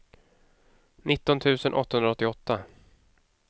nitton tusen åttahundraåttioåtta